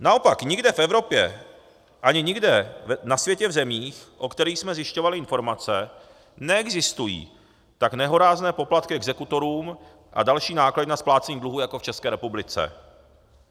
Naopak, nikde v Evropě ani nikde na světě v zemích, o kterých jsme zjišťovali informace, neexistují tak nehorázné poplatky exekutorům a další náklady na splácení dluhů jako v České republice.